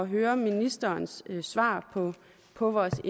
høre ministerens svar på vores